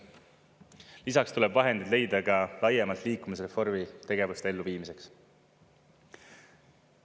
Lisaks tuleb vahendeid leida ka laiemalt liikuvusreformi tegevuste elluviimiseks.